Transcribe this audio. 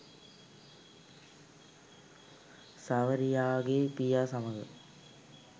සාවරියාගේ පියා සමඟ